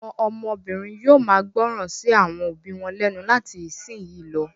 Àwọn ọmọbìnrin yóò máa gbọ́ràn sí àwọn òbí wọn lẹ́nu láti ìsìnyín lọ.